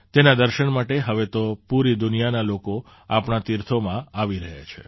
તેના દર્શન માટે હવે તો પૂરી દુનિયાના લોકો આપણાં તીર્થોમાં આવી રહ્યા છે